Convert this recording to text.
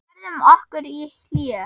Við færðum okkur í hléi.